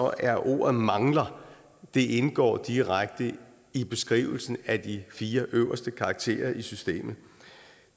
at ordet mangler indgår direkte i beskrivelsen af de fire øverste karakterer i systemet